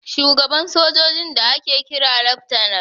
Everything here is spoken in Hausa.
Shugaban sojojin da ake kira Laftanar...